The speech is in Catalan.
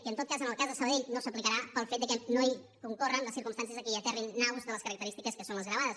i en tot cas en el cas de sabadell no s’aplicarà pel fet que no hi concorren les circumstàncies que hi aterrin naus de les característiques que són les gravades